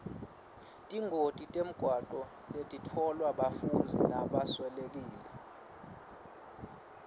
tingoti temgwaco letitfolwa bafundzi tibaswelekise